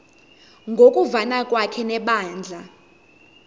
ngokuvana kwakhe nebandla